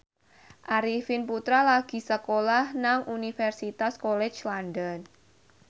Arifin Putra lagi sekolah nang Universitas College London